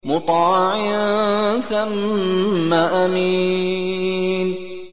مُّطَاعٍ ثَمَّ أَمِينٍ